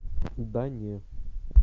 да не